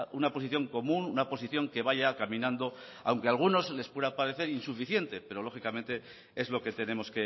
una posición común una posición que vaya caminando aunque a algunos les pueda parecer insuficiente pero lógicamente es lo que tenemos